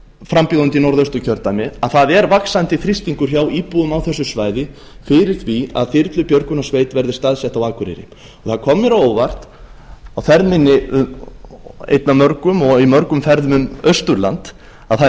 frambjóðandi í norðausturkjördæmi að það er vaxandi þrýstingur hjá íbúum á þessu svæði fyrir því að þyrlubjörgunarsveit verði staðsett á akureyri það kom mér á óvart á ferð minni einni af mörgum og í mörgum ferðum um austurland að það er